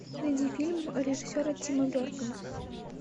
найди фильм режиссера тима бертона